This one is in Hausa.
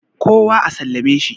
kowa a sallame shi?